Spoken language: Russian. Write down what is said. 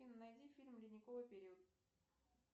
афина найди фильм ледниковый период